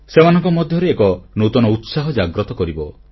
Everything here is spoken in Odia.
ସେମାନଙ୍କ ମଧ୍ୟରେ ଏକ ନୂତନ ଉତ୍ସାହ ଜାଗ୍ରତ କରିବ